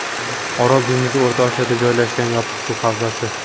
Orol dengizi O‘rta Osiyoda joylashgan yopiq suv havzasi.